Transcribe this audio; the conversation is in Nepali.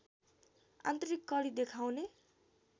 आन्तरिक कडी देखाउने